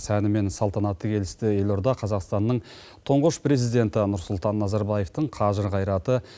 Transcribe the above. сәні мен салтанаты келісті елорда қазақстанның тұңғыш президенті нұрсұлтан назарбаевтың қажыр қайраты